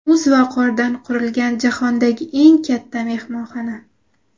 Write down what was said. Muz va qordan qurilgan jahondagi eng katta mehmonxona.